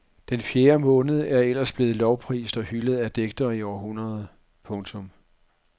Den fjerde måned er ellers blevet lovprist og hyldet af digtere i århundreder. punktum